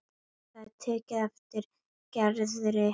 Það er tekið eftir Gerði í Flórens.